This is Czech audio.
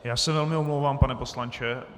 Já se velmi omlouvám, pane poslanče.